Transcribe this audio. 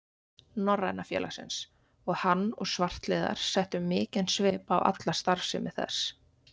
Norræna félagsins, og hann og svartliðar settu mikinn svip á alla starfsemi þess.